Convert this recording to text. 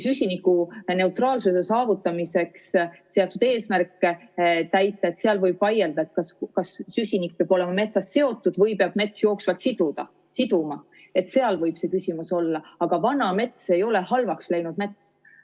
Süsinikuneutraalsuse saavutamiseks seatud eesmärkidega seoses võib vaielda, kas süsinik peab olema metsas seotud või peab mets jooksvalt seda siduma, seal võib see küsimus olla, aga vana mets ei ole halvaks läinud mets.